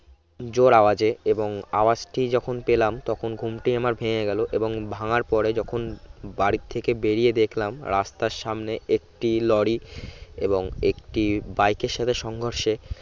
জোড় আওয়াজে এবং আওয়াজটি যখন পেলাম তখন ঘুমটি আমার ভেঙ্গে গেলো এবং ভাঙ্গার পরে যখন বাড়ি থেকে বেরিয়ে দেখলাম রাস্তার সামনে একটি লড়ি এবং একটি বাইক এর সাথে সংঘর্ষে